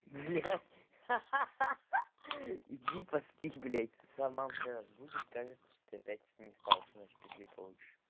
блядь ха-ха иди поспи блядь с утра мамка разбудит скажет то что ты опять не спал всю ночь пизды получишь